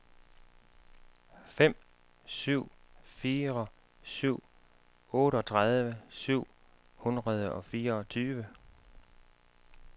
fem syv fire syv otteogtredive syv hundrede og fireogtyve